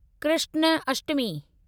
Krishnashtami